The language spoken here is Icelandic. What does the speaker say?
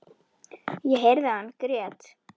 Ég heyrði að hann grét.